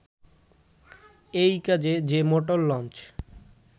এই কাজে যে মোটর লঞ্চ